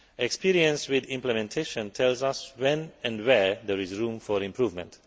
Experience with implementation tells us when and where there is room for improvement.